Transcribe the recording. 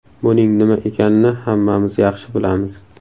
Buning nima ekanini hammamiz yaxshi bilamiz.